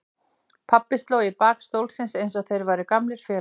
Pabbi sló í bak stólsins eins og þeir væru gamlir félagar.